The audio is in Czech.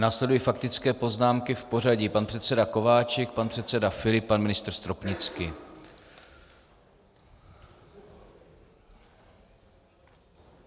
Následují faktické poznámky v pořadí pan předseda Kováčik, pan předseda Filip, pan ministr Stropnický.